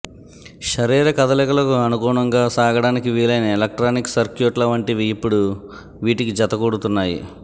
శరీర కదలికలకు అనుగుణంగా సాగటానికి వీలైన ఎలక్ట్రానిక్ సర్క్యూట్ల వంటివీ ఇప్పుడు వీటికి జతకూడుతున్నాయి